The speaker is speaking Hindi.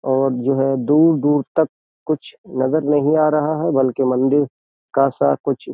और जो है दूर-दूर तक कुछ नजर नहीं आ रहा है बल्कि मंदिर का सा कुछ --